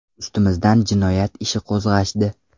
Ustimizdan jinoyat ishi qo‘zg‘ashdi.